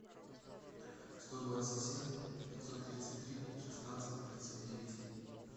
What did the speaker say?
сто двадцать семь пятьсот тридцать три шестнадцать тридцать девять